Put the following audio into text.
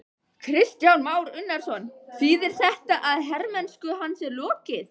Kristján Már Unnarsson: Þýðir þetta að hermennsku hans er lokið?